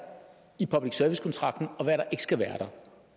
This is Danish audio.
i public service kontrakten og hvad der skal være